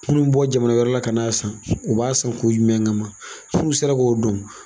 Minnu bɛ bɔ jamana wɛrɛ la ka n'a san u b'a san kun jumɛn kama an tun sera k'o dɔn